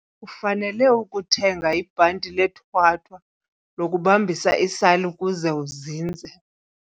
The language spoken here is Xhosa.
Ufanele ukuthenga ibhanti lethwathwa lokubamba isali ukuze izinze.